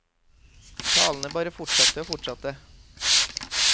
Talene bare fortsatte og fortsatte.